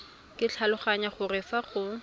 ke tlhaloganya gore fa go